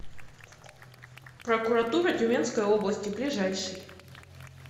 прокуратура тюменской области ближайший